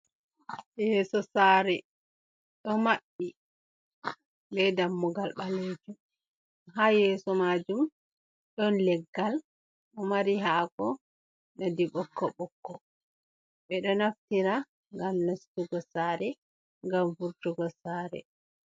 Yeeso sare ɗo maɓɓi be dammugal ɓalejum, haa yeeso majum ɗon leggal ɗo mari haako nonde ɓokko-ɓokko. Ɓeɗo naftira ngam nastugo sare, ngam vurtugo sare.